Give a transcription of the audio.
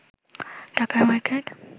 ঢাকার মার্কেট